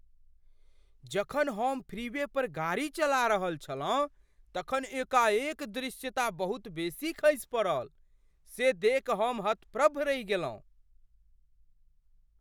जखन हम फ्रीवे पर गाड़ी चला रहल छलहुँ तखन एकाएक दृश्यता बहुत बेसी खसि पड़ल से देखि हम हतप्रभ रहि गेलहुँ।